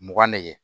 Mugan ne